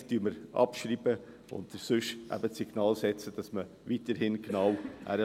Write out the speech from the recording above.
Mehrheitlich schreiben wir ab oder setzen sonst eben die Signale, damit man weiterhin genau hinschaut.